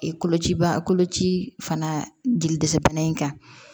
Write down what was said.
kolocibaa koloci fana dili dɛsɛ bana in kan